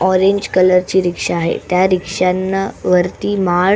orange colour ची rickshaw आहे त्या रिक्षांना वरती माळ--